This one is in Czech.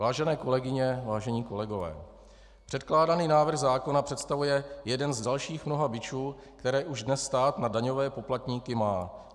Vážené kolegyně, vážení kolegové, předkládaný návrh zákona představuje jeden z dalších mnoha bičů, které už dnes stát na daňové poplatníky má.